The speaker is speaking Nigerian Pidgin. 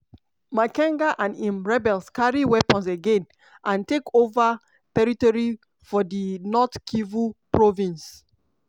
makenga and im rebels carry weapons again anf take ova territory for di north kivu province.